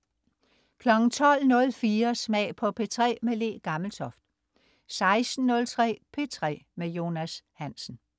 12.04 Smag på P3. Le Gammeltoft 16.03 P3 med Jonas Hansen